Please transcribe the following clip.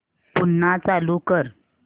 पुन्हा चालू कर